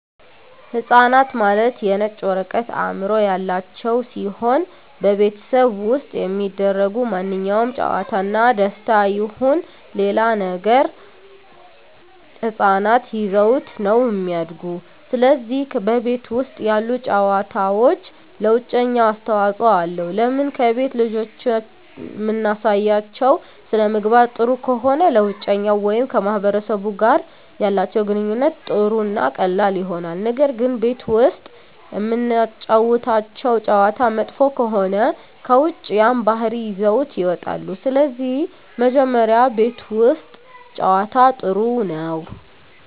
ህፃናት ማለት የነጭ ወረቀት አዕምሮ ያላቸው ሲሆን በቤተሠብ ውስጥ የሚደሰጉ ማንኛውም ጨዋታ እና ደስታ ይሁን ሌላ ነገር ህፃናት ይዘውት ነው እሚድጉ ስለዚህ በቤት ውስጥ ያሉ ጨዋታዎች ለውጨኛው አስተዋፅኦ አለው ለምን ከቤት ልጆችን እምናሳያቸው ሥነምግባር ጥሩ ከሆነ ለውጨኛው ወይም ከማህበረሰቡ ጋር ያላቸው ግንኙነት ጥሩ እና ቀላል ይሆናል ነገር ግን ቤት ውስጥ እምናጫውታቸው ጨዋታ መጥፎ ከሆነ ከውጭ ያን ባህሪ ይዘውት ይወጣሉ ስለዚህ መጀመሪ ቤት ውስት ጨዋታ ጥሩ ነው